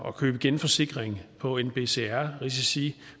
at købe genforsikring på nbcr risici